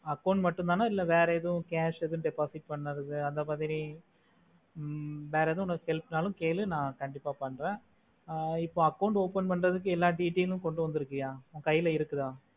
account மட்டோதானா இல்ல வேற ஏதும் cash ஏதும் deposit பண்ணதுக்கு அந்த மாதிரி ஹ்ம் வேற ஏதும் self நாளோ கேளு நா கண்டிப்பா பண்ற இப்போ account open பண்ணறதுக்கு எல்லா details லும் கொண்டு வந்தூர்கியா உன் கைலா இருக்கா